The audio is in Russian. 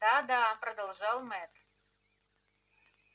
да-да продолжал мэтт